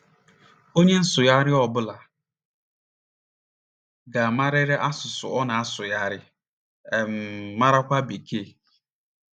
Onye nsụgharị ọ bụla ga - amarịrị asụsụ ọ na - asụgharị, um marakwa Bekee.